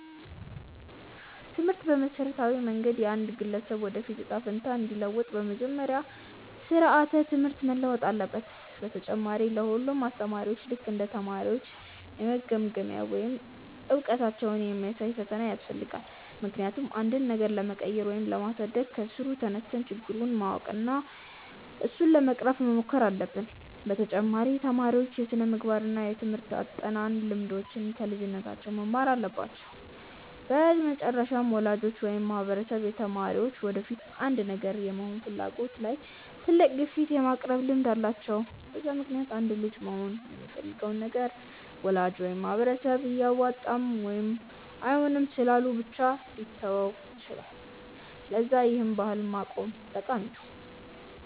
ትምህርት በመሠረታዊ መንገድ የአንድን ግለሰብ የወደፊት እጣ ፈንታ እንዲለውጥ፤ በመጀመሪያ ስራዓተ ትምህርት መለወጥ አለበት፣ በተጨማሪ ለ ሁሉም አስተማሪዎች ልክ እንደ ተማሪዎች የመገምገሚያ ወይም እውቀታቸውን የሚያሳይ ፈተና ያስፈልጋል፤ ምክንያቱም አንድን ነገር ለመቀየር ወይም ለማሳደግ ከስሩ ተነስተን ችግሩን ማወቅ እና እሱን ለመቅረፍ መሞከር አለብን፤ በተጨማሪ ተማሪዎች የስነምግባር እና የትምርህት አጠናን ልምዶችን ከልጅነታቸው መማር አለባቸው፤ በመጨረሻም ወላጆች ወይም ማህበረሰብ የተማሪዎች የወደፊት አንድን ነገር የመሆን ፍላጎት ላይ ትልቅ ግፊት የማቅረብ ልምድ አላቸው፤ በዛ ምክንያትም አንድ ልጅ መሆን የሚፈልገውን ነገር ወላጅ ወይም ማህበረሰብ አያዋጣም ወይም አይሆንም ስላሉ ብቻ ሊተወው ይችላል፤ ለዛ ይህን ባህል ማቆም ጠቃሚ ነው።